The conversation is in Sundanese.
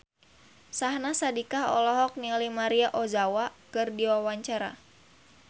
Syahnaz Sadiqah olohok ningali Maria Ozawa keur diwawancara